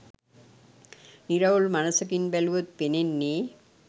නිරවුල් මනසකින් බැලුවොත් පෙනෙන්නේ